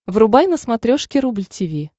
врубай на смотрешке рубль ти ви